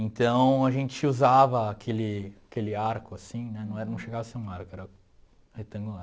Então, a gente usava aquele aquele arco, assim né, não era não chegava a ser um arco, era retangular.